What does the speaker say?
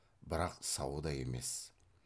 бірақ сау да емес